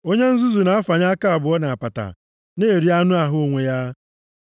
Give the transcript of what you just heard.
Onye nzuzu na-afanye aka abụọ nʼapata, na-eri anụ ahụ onwe ya. + 4:5 \+xt Ilu 24:30-31\+xt*